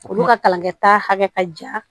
Olu ka kalankɛta hakɛ ka jan